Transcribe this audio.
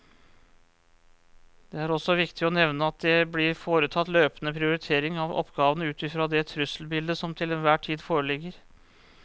Det er også viktig å nevne at det blir foretatt løpende prioritering av oppgavene ut fra det trusselbildet som til enhver tid foreligger.